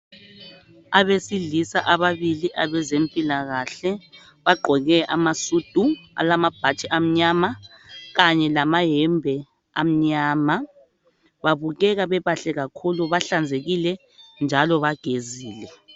Abesilisa ababili abezempilakahle bagqoke amasudu alamabhatshi amanyama kanye lamayembe amnyama. Babukeka bebahle kakhulu, bahlanzekile njalo bagezile